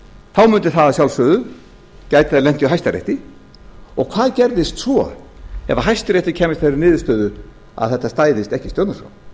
þá mundi það að sjálfsögðu geta lent í hæstarétti og hvað gerðist svo ef hæstiréttur kæmist að þeirri niðurstöðu að þetta stæðist ekki stjórnarskrá